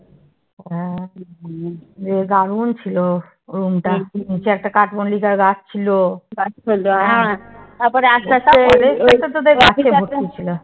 দারুন ছিল room টা। নিচে একটা কাঠ মল্লিকার গাছ ছিল।